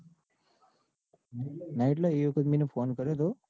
ના એટલે એ વખત મેં એન ફોન કર્યો તો.